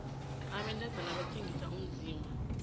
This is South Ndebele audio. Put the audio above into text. abantazana bathengisa umzimba